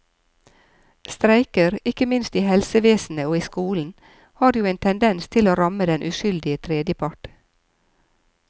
Streiker, ikke minst i helsevesenet og i skolen, har jo en tendens til å ramme den uskyldige tredjepart.